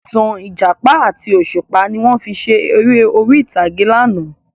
Ìtàn Ìjàpá àti òṣùpá ni wọn fi ṣe ère orí ìtàgé láánà